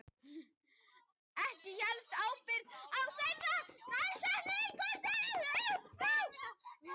Ekki hélst ársbyrjun á þeirri dagsetningu upp frá því.